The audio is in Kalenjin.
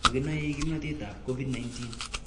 Makenoei kimnotetab Covid-19